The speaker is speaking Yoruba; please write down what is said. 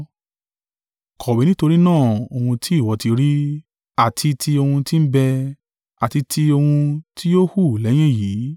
“Kọ̀wé nítorí náà ohun tí ìwọ ti rí, àti ti ohun tí ń bẹ, àti ti ohun tí yóò hù lẹ́yìn èyí;